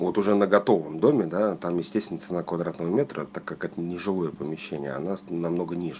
вот уже на готовом доме да там естественно цена квадратного метра так как это нежилое помещение она с намного ниже